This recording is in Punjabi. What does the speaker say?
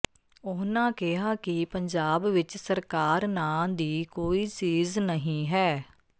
ਉਨ੍ਹਾਂ ਕਿਹਾ ਕਿ ਪੰਜਾਬ ਵਿਚ ਸਰਕਾਰ ਨਾਂ ਦੀ ਕੋਈ ਚੀਜ਼ ਨਹੀਂ ਹੈ